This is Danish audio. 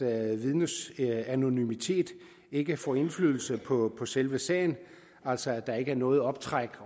at vidnets anonymitet ikke får indflydelse på selve sagen altså at der ikke overhovedet er noget optræk